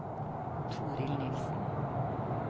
Torild Nielsen